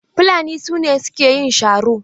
Fulani su ne suke yin sharo.